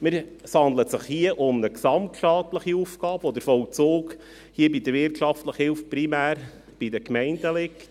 Es handelt sich hier um eine gesamtstaatliche Aufgabe, und der Vollzug liegt primär bei den Gemeinden.